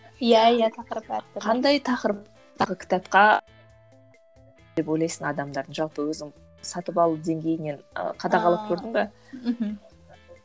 иә иә тақырып әр түрлі қандай ойлайсың адамдардың жалпы өзің сатып алу деңгейінен і қадағалап көрдің бе ааа мхм